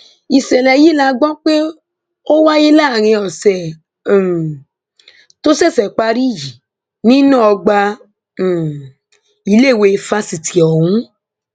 ìṣẹlẹ yìí la gbọ pé ó wáyé láàrin ọsẹ um tó ṣẹṣẹ parí yìí nínú ọgbà um iléèwé fásitì ọhún